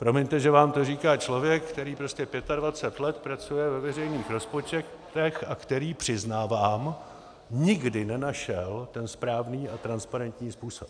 Promiňte, že vám to říká člověk, který prostě 25 let pracuje ve veřejných rozpočtech a který, přiznávám, nikdy nenašel ten správný a transparentní způsob.